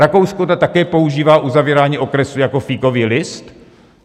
Rakousko také používá uzavírání okresů jako fíkový list?